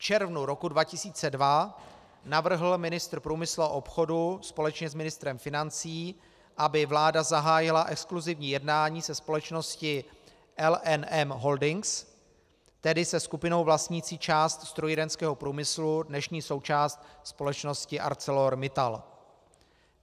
V červnu roku 2002 navrhl ministr průmyslu a obchodu společně s ministrem financí, aby vláda zahájila exkluzivní jednání se společností LNM Holdings, tedy se skupinou vlastnící část strojírenského průmyslu, dnešní součást společnosti ArcelorMittal.